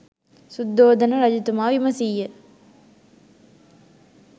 සුද්ධෝදන රජතුමා විමසීය.